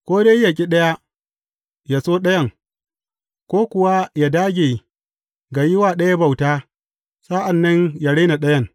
Ko dai ya ƙi ɗaya, ya so ɗayan, ko kuwa ya dāge ga yi wa ɗaya bauta, sa’an nan ya rena ɗayan.